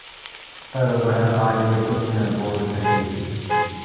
पर वह आगे कुछ न बोल सकी